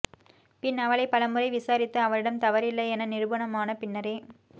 பின் அவளைப் பலமுறை விசாரித்து அவளிடம் தவறில்லை என நிரூபணமான பின்னரே